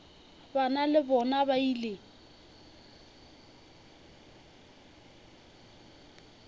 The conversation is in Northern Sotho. bana le bona ba ile